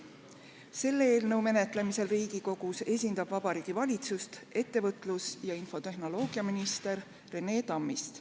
Selle eelnõu menetlemisel Riigikogus esindab Vabariigi Valitsust ettevõtlus- ja infotehnoloogiaminister Rene Tammist.